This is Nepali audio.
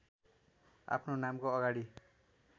आफ्नो नामको अगाडि